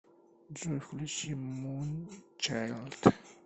джой включи мунчайлд